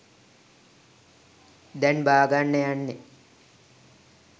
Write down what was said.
දැන් බාගන්න යන්නේ.